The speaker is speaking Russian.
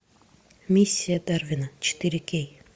миссия дарвина четыре кей